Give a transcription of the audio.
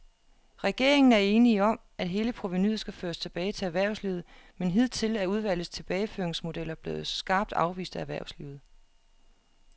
Regeringen er enig om, at hele provenuet skal føres tilbage til erhvervslivet, men hidtil er udvalgets tilbageføringsmodeller blevet skarpt afvist af erhvervslivet.